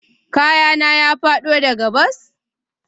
Kayana ya fado daga bas?